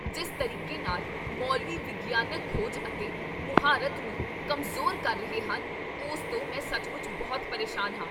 ਜਿਸ ਤਰੀਕੇ ਨਾਲ ਮੌਲਵੀ ਵਿਗਿਆਨਕ ਖੋਜ ਅਤੇ ਮੁਹਾਰਤ ਨੂੰ ਕਮਜ਼ੋਰ ਕਰ ਰਹੇ ਹਨ, ਉਸ ਤੋਂ ਮੈਂ ਸੱਚਮੁੱਚ ਬਹੁਤ ਪਰੇਸ਼ਾਨ ਹਾਂ।